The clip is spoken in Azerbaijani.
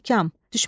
İstehkam.